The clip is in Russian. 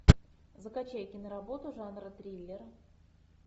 закачай киноработу жанра триллер